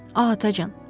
Ah, atacan!